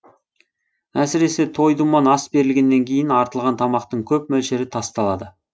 әсіресе той думан ас берілгеннен кейін артылған тамақтың көп мөлшері тасталады